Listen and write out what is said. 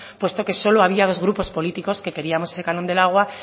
puesto que solo había dos grupos políticos que queríamos ese canon del agua